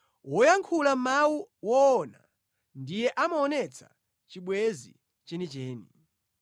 Woyankhula mawu owona ndiye amaonetsa chibwenzi chenicheni.